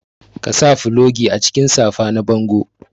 Ka sa fulogi a cikin safa na bango.